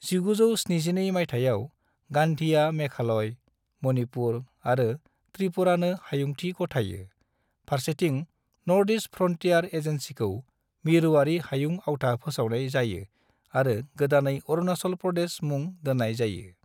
1972 मायथाइयाव, गांधीआ मेघालय, मणिपुर आरो त्रिपुरानो हायुंथि गथायो, फारसेथिं नॉर्थ-ईस्ट फ्रंटियर एजेंसीखौ मिरुआरि हायुं आवथा फोसावनाय जायो आरो गोदानै अरुणाचल प्रदेश मुं दोननाय जायो।